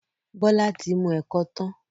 Bola tí mú ẹkọ tán..